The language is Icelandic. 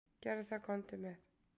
"""Gerðu það, komdu með."""